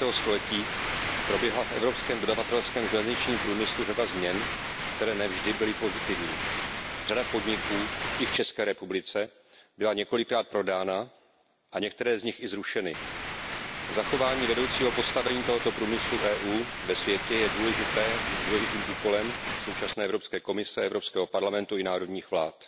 20. století proběhla v evropském dodavatelském železničním průmyslu řada změn, které ne vždy byly pozitivní. Řada podniků i v České republice byla několikrát prodána a některé z nich i zrušeny. Zachování vedoucího postavení tohoto průmyslu EU ve světě je důležitým úkolem současné Evropské komise, Evropského parlamentu i národních vlád.